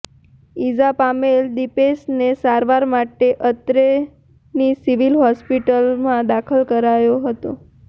ઇજા પામેલ દિપેશને સારવાર માટે અત્રેની સિવિલ હોસ્પિટલમાં દાખલ કરાયો હતો